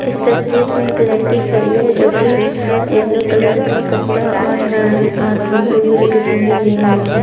इस तस्वीर मई एक लड़की खड़ी है जोकि येलो कलर का कपडा और ब्लू कलर की चुन्नी लिए हुई है।